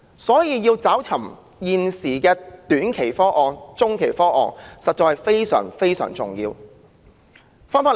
所以，想辦法增加短中期房屋供應實在非常重要。